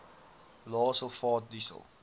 lae sulfaat diesel